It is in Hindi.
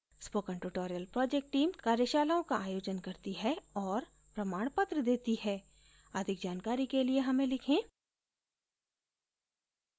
spoken tutorial project team कार्यशालाओं का आयोजन करती है और प्रमाणपत्र देती है अधिक जानकारी के लिए हमें लिखें